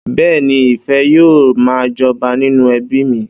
Bẹ́ẹ́ni, ìfẹ́ yóò ma jọba nínú ẹbíì mi.